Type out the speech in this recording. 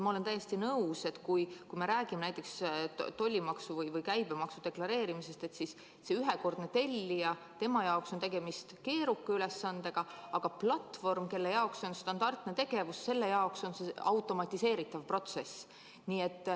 Ma olen täiesti nõus, et kui me räägime näiteks tollimaksu või käibemaksu deklareerimisest, siis ühekordse tellija jaoks on tegemist keeruka ülesandega, aga platvormile, kelle jaoks see on standardne tegevus, on see automatiseeritav protsess.